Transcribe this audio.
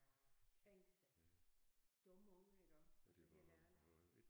Ja tænk sig. Dumme unger iggå altså helt ærligt